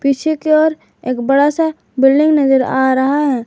पीछे की ओर एक बड़ासा बिल्डिंग नजर आ रहा है।